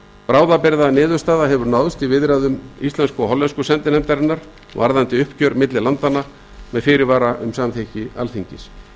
bráðabirgðaniðurstaða hefur náðst í viðræðum íslensku og hollensku sendinefndarinnar varðandi uppgjör milli landanna með fyrirvara um samþykki alþingis